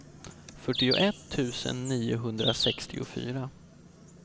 fyrtioett tusen niohundrasextiofyra